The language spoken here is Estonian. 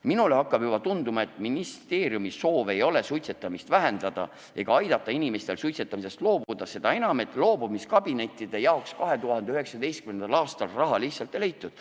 Minule hakkab juba tunduma, et ministeeriumi soov ei ole suitsetamist vähendada ega aidata inimestel suitsetamisest loobuda, seda enam, et loobumiskabinettide jaoks 2019. aastal raha lihtsalt ei leitud.